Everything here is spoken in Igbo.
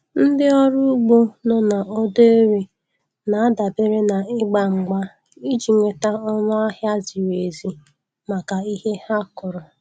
Ndị ọrụ ugbo nọ na Odo Ere na-adabere n'ịgba mgba iji nweta ọnụ ahịa ziri ezi maka ihe ha kụrụ.